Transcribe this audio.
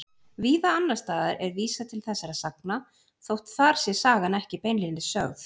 Víða annars staðar er vísað til þessara sagna þótt þar sé sagan ekki beinlínis sögð.